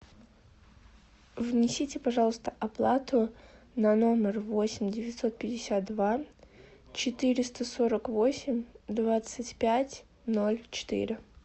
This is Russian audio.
внесите пожалуйста оплату на номер восемь девятьсот пятьдесят два четыреста сорок восемь двадцать пять ноль четыре